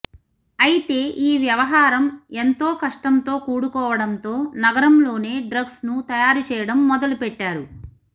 అయితే ఈ వ్యవహారం ఎంతో కష్టంతో కూడుకోవడంతో నగరంలోనే డ్రగ్స్ను తయారు చేయడం మొదలు పెట్టారు